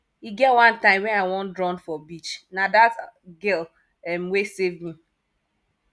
e get one time wey i wan drown for beach na dat girl um wey safe me